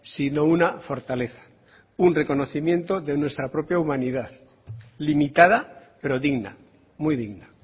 sino una fortaleza un reconocimiento de nuestra propia humanidad limitada pero digna muy digna